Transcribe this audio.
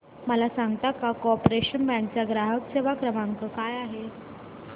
मला सांगता का कॉर्पोरेशन बँक चा ग्राहक सेवा क्रमांक काय आहे